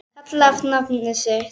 kallar á nafna sinn